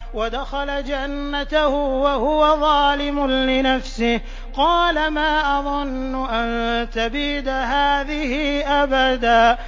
وَدَخَلَ جَنَّتَهُ وَهُوَ ظَالِمٌ لِّنَفْسِهِ قَالَ مَا أَظُنُّ أَن تَبِيدَ هَٰذِهِ أَبَدًا